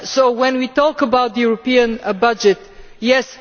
When we talk about the European budget yes